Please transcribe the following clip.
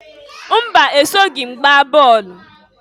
Mba! Esoghi m gbaa bọọlụ.